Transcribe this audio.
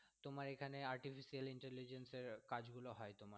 তোমার এখানে artificial intelligence এর কাজগুলো হয় তোমার।